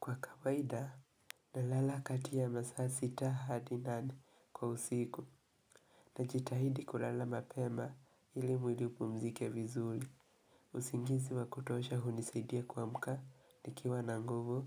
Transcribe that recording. Kwa kawaida, nalala kati ya masaa sita hadi nane kwa usiku. Najitahidi kulala mapema ili mwili upumzike vizuli. Usingizi wa kutosha hunisaidia kuamka, nikiwa na nguvu,